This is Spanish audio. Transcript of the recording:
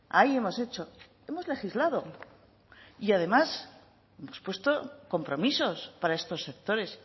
ahí hemos hecho hemos legislado y además hemos puesto compromisos para estos sectores